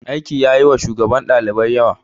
Aiki yayi wa shugaban ɗalibai yawa.